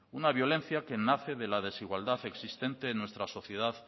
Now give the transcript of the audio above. una violencia que nace de la desigualdad existente en nuestra sociedad